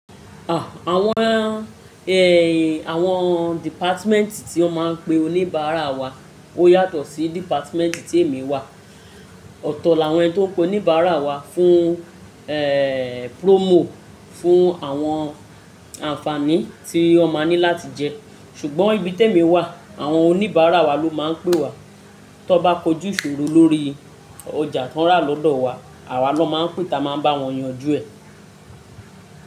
À, àwọn, ẹ, àwọn dìpátimẹ́ntì tí wọ́n máa ń pe oníbàárà wa ó yàtọ̀ sí dìpátimẹ́ntì tí èmi wà. Ọ̀tọ̀ la wọ́n tó ń pe oníbàárà wa fún, ẹ, promo, fún àwọn ànfaàní tí wọ́n máa ní láti jẹ ṣùgbọ́n ibi tí èmi wà àwọn oníbàárà wa ló máa ń pè wà. Tan bá kojú ìṣòro lórí ọjà tó rà lọ́dọ̀ wa, àwa lọ máa ń pè tí a máa bá wọn yanjú ẹ.